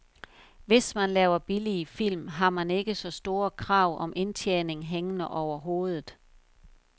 Hvis man laver billige film, har man ikke så store krav om indtjening hængende over hovedet.